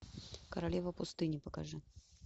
королева пустыни покажи